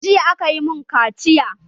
Jiya a ka yi mun kaciya